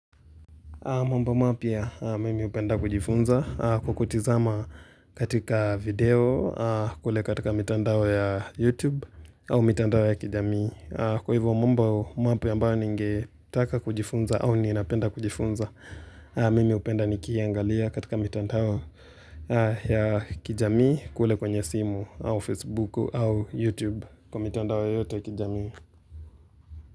Mwambo mapya mimi upenda kujifunza kukutizama katika video kule katika mitandao ya YouTube au mitandao ya kijamii. Kwa hivyo mwambo mapya ambayo ningetaka kujifunza au ninapenda kujifunza, mimi upenda nikiaangalia katika mitandao ya kijamii kule kwenye simu au Facebook au YouTube kwa mitandao ya kijamii.